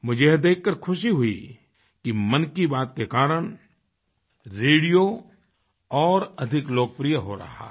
मुझे यह देखकर के खुशी हुई कि मन की बात के कारण रेडियो और अधिक लोकप्रिय हो रहा है